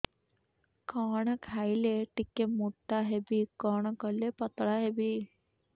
କଣ ଖାଇଲେ ଟିକେ ମୁଟା ହେବି କଣ କଲେ ପତଳା ହେବି